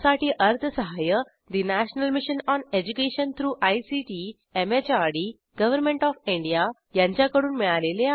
यासाठी अर्थसहाय्य national mission on education through ICT MHRD government of India यांच्याकडून मिळालेले आहे